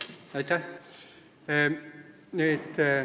Aitäh!